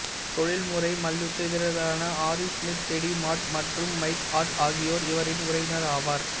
தொழில்முறை மல்யுத்த வீரர்களான ஹாரி ஸ்மித் டெடி மாட் மற்றும் மைக் ஹார்ட் ஆகியோர் இவரின் உறவினர் ஆவார்